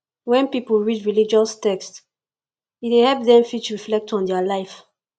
when pipo read religious text e dey help dem fit reflect on their life